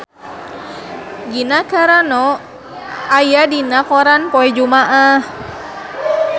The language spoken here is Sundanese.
Gina Carano aya dina koran poe Jumaah